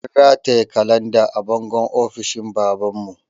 An rataye kalanda a bangon ofishin baban mu